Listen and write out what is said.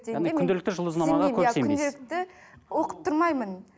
күнделікті жұлдызнамаға күнделікті оқып тұрмаймын